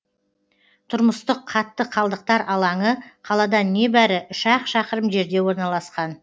тұрмыстық қатты қалдықтар алаңы қаладан небәрі үш ақ шақырым жерде орналасқан